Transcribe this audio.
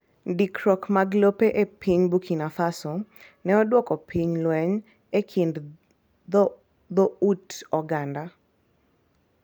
Ndikruok mag lope e piny Burkina Faso ne oduoko piny lweny e kind dho ut oganda.